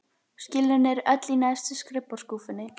Skjölin eru öll í neðstu skrifborðsskúffunni.